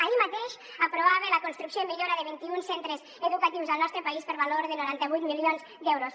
ahir mateix aprovava la construcció i millora de vint i un centres educatius al nostre país per valor de noranta vuit milions d’euros